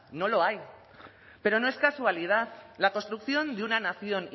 no lo hay pero no es casualidad la construcción de una nación